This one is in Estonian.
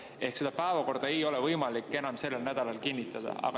Ehk päevakorda ei ole võimalik enam sellel nädalal kinnitada.